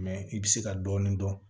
Mɛ i bɛ se ka dɔɔni dɔn